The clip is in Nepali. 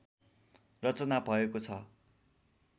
रचना भएको छ